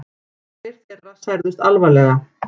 Tveir þeirra særðust alvarlega